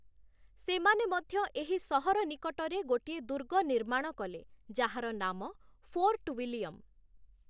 ସେମାନେ ମଧ୍ୟ ଏହି ସହର ନିକଟରେ ଗୋଟିଏ ଦୁର୍ଗ ନିର୍ମାଣ କଲେ, ଯାହାର ନାମ 'ଫୋର୍ଟ ୱିଲିୟମ୍‌' ।